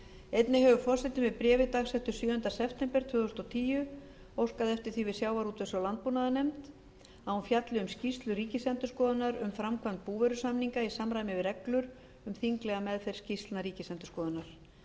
einnig hefur forseti með bréfi dagsettu sjöunda sept tvö þúsund og tíu óskað eftir því við sjávarútvegs og landbúnaðarnefnd að hún fjalli um skýrslu ríkisendurskoðunar um framkvæmd búvörusamninga í samræmi við reglur um þinglega meðferð skýrslna ríkisendurskoðunar